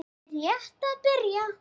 Ég er rétt að byrja!